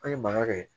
An ye mankan kɛ